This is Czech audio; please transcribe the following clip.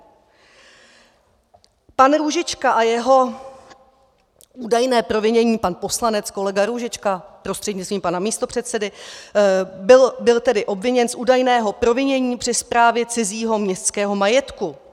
Pan Růžička a jeho údajné provinění, pan poslanec, kolega Růžička prostřednictvím pana místopředsedy, byl tedy obviněn z údajného provinění při správě cizího městského majetku.